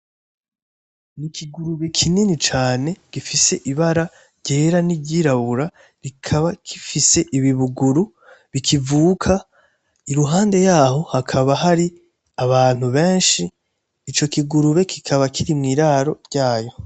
Ikigurube kinini cane gifise ibara ryera , n’iryirabura kikaba gifise ibibuguru bikivuga iruhande yaho hakaba hari abantu benshi, ico kigurube kibaba kiri mwiraro ryayo .